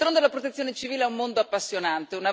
D'altronde, la Protezione civile è un mondo appassionante.